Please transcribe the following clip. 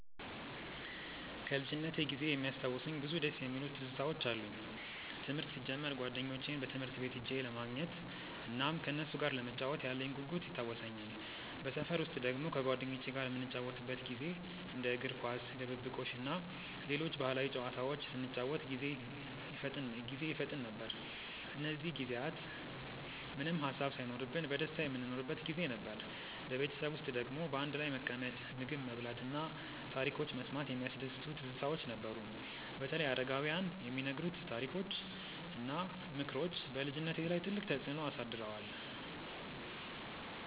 ከልጅነቴ ጊዜ የሚያስታውሱኝ ብዙ ደስ የሚሉ ትዝታዎች አሉኝ። ትምህርት ሲጀምር ጓደኞቼን ትምህርት ቤት ሄጄ ለማግኘት እናም ከነሱ ጋር ለመጫወት ያለኝ ጉጉት ይታወሰኛል። በሰፈር ውስጥ ደግሞ ከጓደኞቼ ጋር የምንጫወትበት ጊዜ እንደ እግር ኳስ፣ ድብብቆሽ እና ሌሎች ባህላዊ ጨዋታዎች ስንጫወት ጊዜ ይፈጠን ነበር። እነዚህ ጊዜያት ምንም ሃሳብ ሳይኖርብን በደስታ የምንኖርበት ጊዜ ነበር። በቤተሰብ ውስጥ ደግሞ በአንድ ላይ መቀመጥ፣ ምግብ መብላት እና ታሪኮች መስማት የሚያስደስቱ ትዝታዎች ነበሩ። በተለይ አረጋውያን የሚነግሩት ታሪኮች እና ምክሮች በልጅነቴ ላይ ትልቅ ተፅዕኖ አሳድረዋል።